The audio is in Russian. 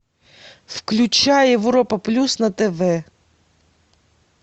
включай европа плюс на тв